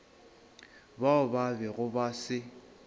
bao ba bego ba se